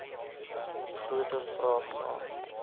groter vraag na